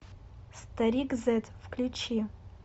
старик зед включи